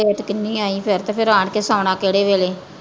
Late ਕਿੰਨੀ ਆਈਂ ਫੇਰ ਤੇ ਫਿਰ ਆ ਕੇ ਸੋਣਾ ਕਿਹੜੇ ਵੇਲੇ?